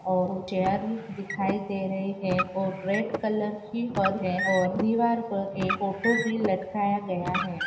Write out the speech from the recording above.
और वो चेयर दिखाई दे रही है और रेड कलर की फर है और दीवार पर एक फोटो भी लटकाया गया है।